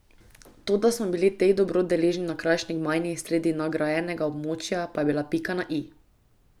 To, da smo bili teh dobrot deležni na kraški gmajni sredi nagrajenega območja, pa je bila pika na i.